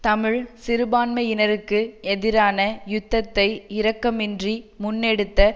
தமிழ் சிறுபான்மையினருக்கு எதிரான யுத்தத்தை இரக்கமின்றி முன்னெடுத்த